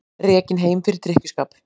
Rekinn heim fyrir drykkjuskap